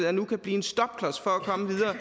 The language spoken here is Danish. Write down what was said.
er nu kan blive en stopklods for at komme videre